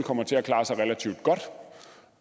kommer til at klare sig relativt godt